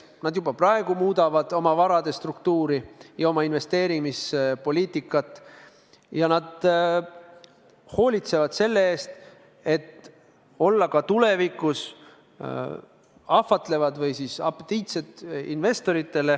Nad juba praegu muudavad oma varade struktuuri ja oma investeerimispoliitikat ja hoolitsevad selle eest, et olla ka tulevikus investorite silmis ahvatlevad või apetiitsed.